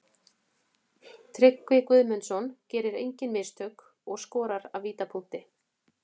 Tryggvi Guðmundsson gerir engin mistök og skorar af vítapunktinum.